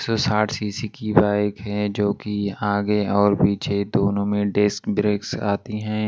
एक सौ साठ सी_सी की बाइक है जो कि आगे और पीछे दोनों में डिस्क ब्रेक्स आती हैं।